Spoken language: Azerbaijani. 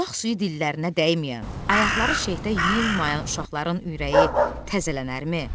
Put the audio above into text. Bulaq suyu dillərinə dəyməyən, ayaqları şehdə yummayan uşaqların ürəyi təzələnərmi?